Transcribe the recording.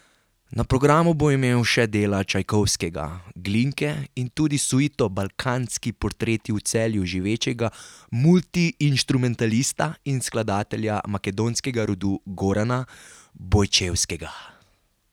Na programu bo imel še dela Čajkovskega, Glinke in tudi suito Balkanski portreti v Celju živečega multiinštrumentalista in skladatelja makedonskega rodu Gorana Bojčevskega.